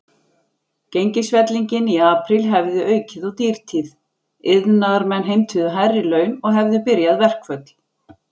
Gengisfellingin í apríl hefði aukið á dýrtíð, iðnaðarmenn heimtuðu hærri laun og hefðu byrjað verkföll.